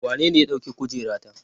Wanene ya ɗauki kujerata?